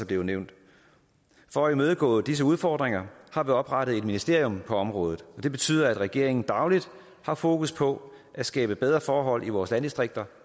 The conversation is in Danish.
blevet nævnt for at imødegå disse udfordringer har vi oprettet et ministerium på området og det betyder at regeringen dagligt har fokus på at skabe bedre forhold i vores landdistrikter